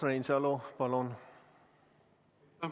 Urmas Reinsalu, palun!